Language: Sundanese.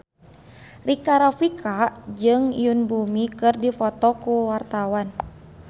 Rika Rafika jeung Yoon Bomi keur dipoto ku wartawan